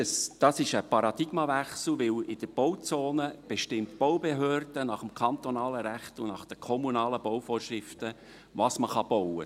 Das ist ein Paradigmenwechsel, denn in der Bauzone bestimmt die Baubehörde nach dem kantonalen Recht und den kommunalen Bauvorschriften, was man bauen kann.